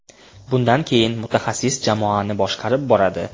Bundan keyin mutaxassis jamoani boshqarib boradi.